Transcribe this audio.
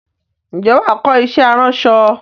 Ǹjẹ́ wàá kọ iṣẹ́ aránṣọ?